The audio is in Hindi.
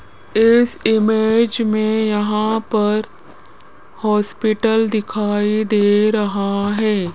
इस इमेज मे यहां पर हॉस्पिटल दिखाई दे रहा है।